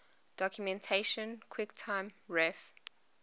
documentation quicktime ref